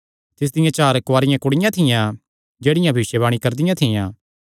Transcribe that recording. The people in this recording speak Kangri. तिसदियां चार कुआरियां कुड़ियां थियां जेह्ड़ियां भविष्यवाणी करदियां थियां